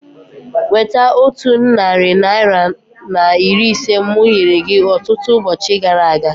Weta otu narị naira na iri ise mụ nyere gị ọtụtụ ụbọchị gara aga